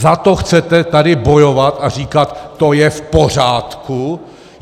Za to chcete tady bojovat a říkat, to je v pořádku?